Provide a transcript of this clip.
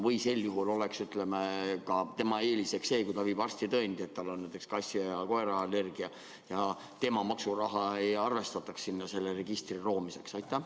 Kas sel juhul võiks olla tema eeliseks see, et kui ta viib arstitõendi, et tal on näiteks kassi- ja koeraallergia, siis tema maksuraha ei kasutata selle registri loomiseks?